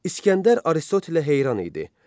İsgəndər Aristotelə heyran idi.